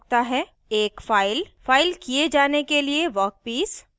एक फाइलफ़ाइल किये जाने के लिए वर्कपीस